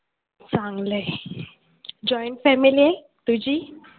चांगलं आहे joint family आहे तुझी?